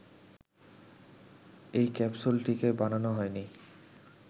এই ক্যাপসুলটিকে বানানো হয়নি